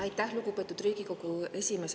Aitäh, lugupeetud Riigikogu esimees!